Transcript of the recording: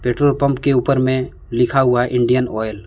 Petrol pump के ऊपर में लिखा हुआ इंडियन ऑयल ।